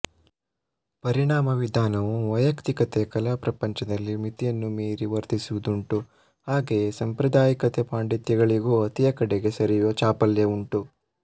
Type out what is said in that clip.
ಪರಿಣಾಮವಿಧಾನವೂ ವೈಯಕ್ತಿಕತೆಯೂ ಕಲಾಪ್ರಪಂಚದಲ್ಲಿ ಮಿತಿಯನ್ನು ಮೀರಿ ವರ್ತಿಸುವುದುಂಟು ಹಾಗೆಯೇ ಸಾಂಪ್ರದಾಯಿಕತೆ ಪಾಂಡಿತ್ಯಗಳಿಗೂ ಅತಿಯ ಕಡೆಗೆ ಸರಿಯುವ ಚಾಪಲ್ಯವುಂಟು